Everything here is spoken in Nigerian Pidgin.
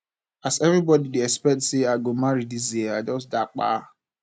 as everbody dey expect sey i go marry dis year i just japa